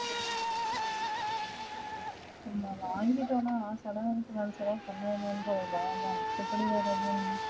நான் வாங்கிட்டனா கடன் நின்றுமள அதான் மத்தபடி ஒரு இதுவும் இல்ல